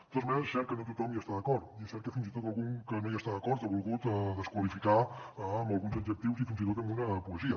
de totes maneres és cert que no tothom hi està d’acord i és cert que fins i tot algú que no hi està d’acord ho ha volgut desqualificar amb alguns adjectius i fins i tot amb una poesia